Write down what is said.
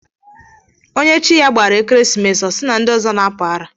Onye Chi ya gbara ekeresimesi, ọ si na ndi ọzọ n'apusi ara.